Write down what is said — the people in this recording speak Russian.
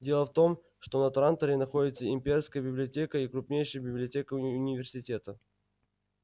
дело в том что на транторе находятся имперская библиотека и крупнейшая библиотека университета